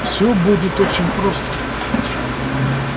всё будет очень просто